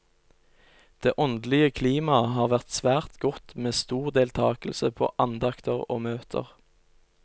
Det åndelige klimaet har vært svært godt med stor deltakelse på andakter og møter.